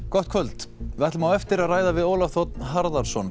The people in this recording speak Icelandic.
gott kvöld við ætlum á eftir að ræða við Ólaf þ Harðarson